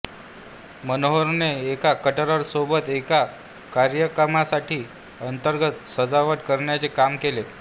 मनोहरने एका कॅटररसोबत एका कार्यक्रमासाठी अंतर्गत सजावट करण्याचे काम केले